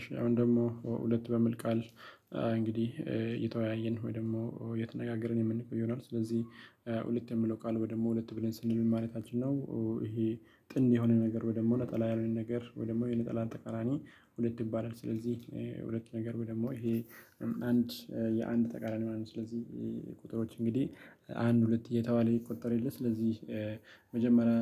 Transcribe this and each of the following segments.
እሺ አሁን ደግሞ ሁለት በሚል ቃል እንግዲህ እየተወያየን ወይ ደግሞ እየተነጋገርን የምንቆይ ይሆናል። ስለዚህ ሁለት የሚለው ቃል ወይ ደግሞ ሁለት ብለን ስንል ምን ማለታችን ነው፤ ይሄ ጥንድ የሆነ ነገር ወይ ደግሞ ነጠላ ያልሆነ ነገር ወይ ደግሞ የነጠላን ተቀራኒ ሁለት ይባላል ስለዚህ ሁለት ነገር ወይ ደግሞ ይሄ አንድ የአንድ ተቃራኒ ማለት ነው። ስለዚህ ቁጥሮች እንግዲህ አንድ፣ ሁለት እየተባለ ይቆጠር የለም ስለዚህ መጀመሪያ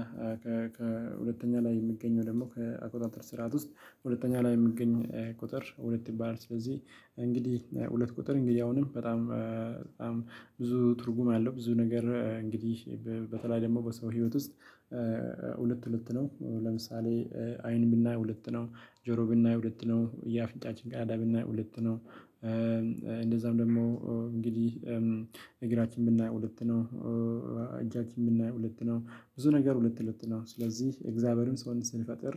ከሁለተኛ ላይ የምገኘው ደግሞ ከአቆጣጠር ስርዓት ውስጥ ሁለተኛ ላይ የሚገኝ ቁጥር ሁለት ይባላል። ስለዚህ እንግዲህ ሁለት ቁጥር እንግዲህ አሁንም በጣም በጣም ብዙ ትርጉም አለው ብዙ ነገር እንግዲህ በተለይ ደግሞ በሰው ህይወት ውስጥ ሁለት ሁለት ነው ለምሳሌ አይን ብናይ ሁለት ነው፣ ጆሮ ብናይ ሁለት ነው፣ የአፍንጫችን ቀዳዳ ብናይ ሁለት ነው፣ እንደዛም ደግሞ እንግዲህ እግራችን ብናይ ሁለት ነው፣ እጃችን ብናይ ሁለት ነው፣ ብዙ ነገር ሁለት ሁለት ነው ስለዚህ እግዚአብሔርም ሰውን ሲፈጥር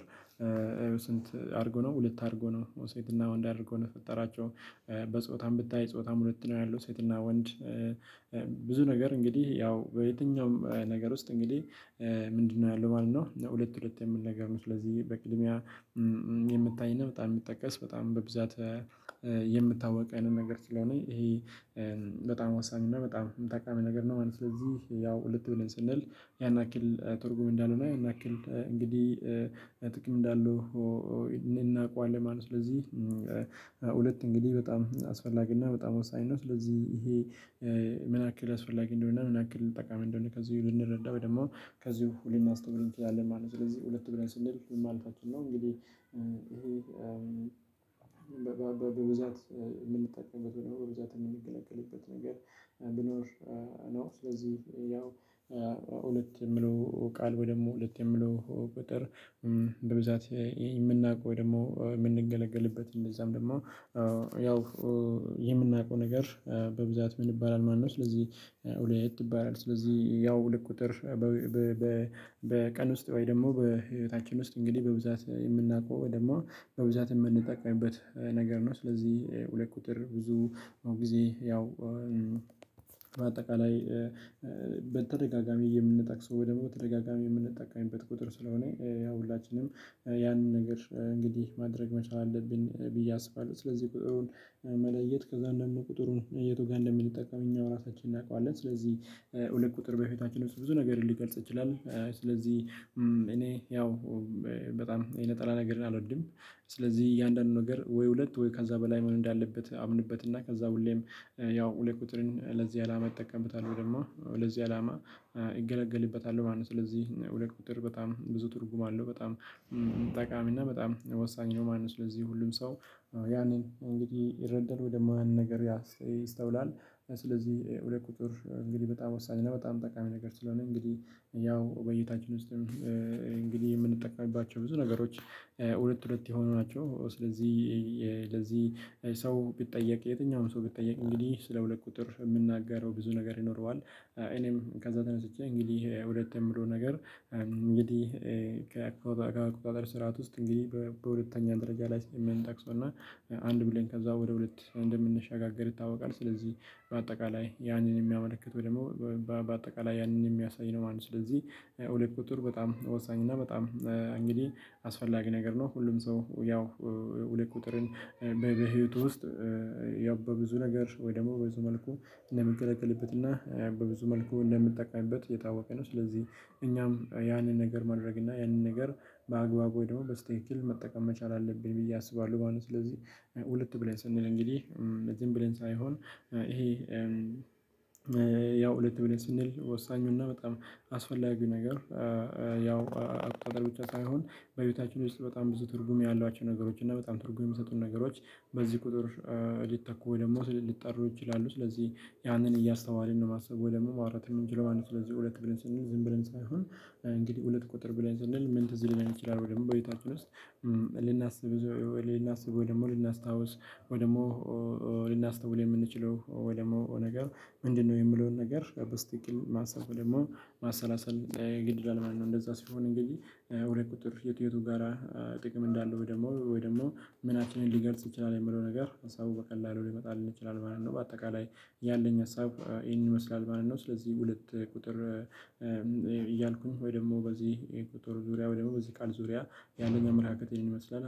ስንት አድርጎ ነው ሁለት አድርጎ ነው ሴትና ወንድ አድርጎ ነው የፈጠራቸው። በጾታም ብታይ ጾታም ሁለት ነው ያለው ሴትና ወንድ ብዙ ነገር እንግዲህ ያው በየትኛውም ነገር ውስጥ እንግዲህ ምንድነው ያለው ማለት ነው ሁለት ሁለት የሚል ነግር ነው። ስለዚህ በቅድሚያ የሚታይ እና በጣም የሚጠቀስ በጣም በብዛት የምታወቅ አይነት ነገር ስለሆነ ይሄ በጣም ወሳኝ እና በጣም ጠቃሚ ነገር ነው ማለት ነው። ስለዚህ ያው ሁለት ሆነን ስንል ያን አክል ተርጉም እንዳልሆነ ያን ያክል እንግዲህ ጥቅም እንዳሉ እናውቀዋለን ማለት ነው። ስለዚህ እንግዲህ በጣም አስፈላጊ እና በጣም ወሳኝ ነው። ስለዚህ ይሄ ምን አክል አስፈላጊ እንደሆነ ምን አክል ጠቃሚ እንደሆነ ከዚህ ልንረዳ ደሞ ከዚሁ ሁል ልናስተውል እንችላለን ማለት ነው ስለዚህ ሁለት ብለን ስንል ምን ማለታችን ነው እንግዲህ እሄ በብዛት ምንጠቀበት ወይ ደሞ በብዛት ምንገለገልበት ነገር ብኖር ነው ስለዚህ ያው ሁለት የምለው ቃል ወይ ደግሞ ሁለት የሚለው ቁጥር በብዛት ምናውቀው ደሞ ምንገለገልበት እንደዛም ደሞ ያው የምናውቀው ነገር በብዛት ምን ይባላል ማለት ነው ስለዚህ ሁለት እባላል ስለዚህ ያው ሁለት ቁጥር በቀን ውስጥ ወይ ደግሞ በህይወታችን ውስጥ እንግዲህ በብዛት የምናውቀው ደግሞ በብዛት እምንጠቀምበት ነገር ነው ስለዚህ ሁለት ቁጥር ብዙ ጊዜ ያው በአጠቃላይ በተደጋጋሚ የምንጠቅሰው ወይ ደሞ በተደጋጋሚ የምንጠቀምበት ቁጥር ስለሆነ ያው ሁላችንም ያንን ነገር እንግዲህ ማድረግ መቻል አለብን ብዬ አስባለሁ ስለዚህ ቁጥሩን መለየት ከዛ አንዳንዱን ቁጥሩን የቱ ጋር እንደምንጠቀም እኛው ራሳችንን እናውቃለን ስለዚህ ሁለት ቁጥር በፊታችን ውስጥ ብዙ ነገር ሊገልጽ ይችላል ስለዚህ እኔ ያው በጣም የነጠላ ነገርን አልወድም ስለዚህ እያንዳንዱ ነገር ወይ ሁለት ወይ ከዛ በላይ መሆን እንዳለበት አምንበት እና ከዛ ሁሌም ያው ሁለት ቁጥርን ለዚህ አላማ እጠቀምበታለሁ ወይ ደሞ ለዚህ አላማ እገለገልበታለሁ ማለት ነው ስለዚህ ሁለት ቁጥር በጣም ብዙ ትርጉም አለው በጣም ጠቃሚ እና በጣም ወሳኝ ነው ማለት ነው ስለዚህ ሁሉም ሰው ያንን እንግዲህ ይረዳል ወይ ደሞ ያንን ነገር ይስተውላል ስለዚህ ሁለት ቁጥር እንግዲህ በጣም ወሳኝ እና በጣም ጠቃሚ ነገር ስለሆነ እንግዲህ ያው በይታችን ውስጥም እንግዲህ የምንጠቀምባቸው ብዙ ነገሮች ሁለት ሁለት የሆኑ ናቸው ስለዚህ ለዚህ ሰው ቢጠየቅ የትኛውም ሰው ቢጠየቅ እንግዲህ ስለ ሁለት ቁጥር ምናገረው ብዙ ነገር ይኖረዋል እኔም ከዛ ተነስቼ እንግዲህ ሁለት የምለው ነገር እንግዲህ ከአቆጣጥር ስርዓት ውስጥ እንግዲህ በሁለተኛ ደረጃ ላይ ስለ ምንጠቅሰውና አንድ ብለን ከዛ ወደ ሁለት እንደምንሸጋገር ይታወቃል ስለዚህ በአጠቃላይ ያንን እሚያመለክት ወይ ደሞ በአጠቃላይ ያንን እሚያሳይ ነው ማለት ነው ስለዚህ ሁለት ቁጥር በጣም ወሳኝ እና በጣም እንግዲህ አስፈላጊ ነገር ነው ሁሉም ሰው ያው ሁለት ቁጥርን በህይወቱ ውስጥ ያው በብዙ ነገር ወይ ደግሞ በብዙ መልኩ እንደምገለገልበትና በብዙ መልኩ እንደ ምጠቀምበት የታወቀ ነው ስለዚህ እኛም ያንን ነገር ማድረግ እና ያንን ነገር በአግባብ ወይ ደሞ በእስትኪክል መጠቀም መቻል አለብኝ ብዬ አስባለሁ ማለት ነው ስለዚህ ሁለት ብለን ስንል እንግዲህ ዝም ብለን ሳይሆን እሄ ያው ሁለት ብለን ስንል ወሳኙና በጣም አስፈላጊ ነገር ያው አቆጣጠር ብቻ ሳይሆን በህይወታችን ውስጥ በጣም ብዙ ትርጉም ያሏቸው ነገሮች እና በጣም ትርጉም የሚሰጡን ነገሮች በዚህ ቁጥር ሊተኩ ወይ ደሞ ሊጠሩ ይችላሉ ስለዚህ ያንን እያስተዋለን ነው ማሰብ ወይ ደሞ ማውራት የምንችለው ማለት ስለዚህ ሁለት ብለን ስንል ዝም ብለን ሳይሆን እንግዲህ ሁለት ቁጥር ብለን ስንል ምን ትዝ ሊለን ይችላል ደሞ በቤታችን ውስጥ ልናስብ ልናስብ ወይ ደሞ ልናስታውስ ወይ ደሞ ልናስተውል የምንችለው ወይ ደግሞ ነገር ምንድነው የምለውን ነገር በስትክክል ማሰብ ደግሞ ማሰላሰል ግድ ይላል ማለት ነው እንደዛ ሲሆን እንግዲህ ሁለት ቁጥር የት የቱ ጋራ ጥቅም እንዳለው ወይ ደሞ ወይ ደሞ ምናችንን ሊገልጽ ይችላል የሚለው ነገር ሀሳቡ በቀላሉ ሊመጣልን ይችላል ማለት ነው በአጠቃላይ ያለኝ ሀሳብ እሂንን ይመስላል ማለት ነው ስለዚህ ሁለት ቁጥር እያልኩኝ ወይ ደግሞ በዚህ ቁጥር ዙሪያ ወይ ደግሞ በዚህ ቃል ዙሪያ ያለኝ አመለካከት እሆን ይመስላል